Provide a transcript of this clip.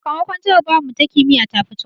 Sakamakon jarabawarmu ta kimiyya ta fito